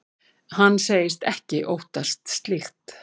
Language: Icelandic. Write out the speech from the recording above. Hann segist ekki óttast slíkt.